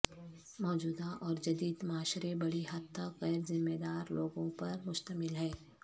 موجودہ اور جدید معاشرے بڑی حد تک غیر ذمہ دار لوگوں پر مشتمل ہے